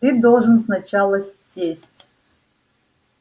ты должен сначала сесть